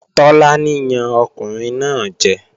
Tọ́lání yan ọkùnrin náà jẹ